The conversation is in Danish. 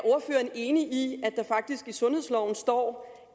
enig i at der faktisk i sundhedsloven står